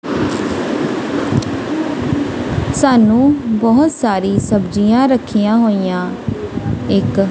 ਸਾਨੂੰ ਬੋਹੁਤ ਸਾਰੀ ਸਬਜੀਆਂ ਰੱਖੀਆਂ ਹੋਈਆਂ ਇੱਕ--